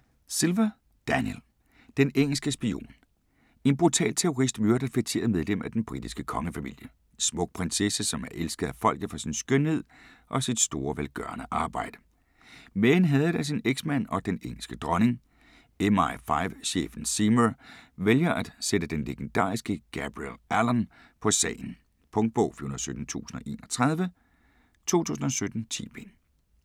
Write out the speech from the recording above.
Silva, Daniel: Den engelske spion En brutal terrorist myrder et feteret medlem af den britiske kongefamilie. En smuk prinsesse, som er elsket af folket for sin skønhed og sit store velgørende arbejde. Men hadet af sin eksmand og den engelske dronning. MI5 chefen Seymour vælger at sætte den legendariske Gabriel Allon på sagen. Punktbog 417031 2017. 10 bind.